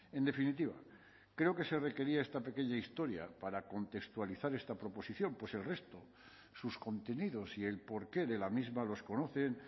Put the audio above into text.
en definitiva creo que se requería esta pequeña historia para contextualizar esta proposición pues el resto sus contenidos y el porqué de la misma los conocen